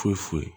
Foyi foyi